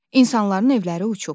İnsanların evləri uçub.